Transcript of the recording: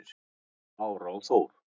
Lára og Þór.